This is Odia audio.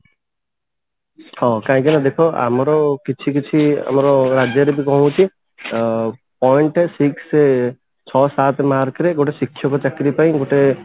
ହଁ କାହିକି ନା ଦେଖ ଆମର କିଛି କିଛି ଆମର ରାଜ୍ୟରେ ବି କଣ ହଉଛି ଅ point six ଛଅ ସାତ mark ରେ ଗୋଟେ ଶିକ୍ଷକ ଚାକିରି ପାଇଁ ଗୋଟେ